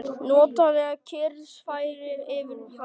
Notaleg kyrrð færist yfir hann.